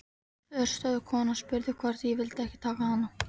Forstöðukonan spurði hvort ég vildi ekki taka hana.